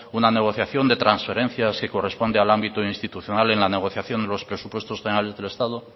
una negociación de transferencias que corresponde al ámbito institucional en la negociación de los presupuestos generales del estado